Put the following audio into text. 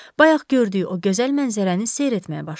Bayaq gördüyü o gözəl mənzərəni seyr etməyə başladı.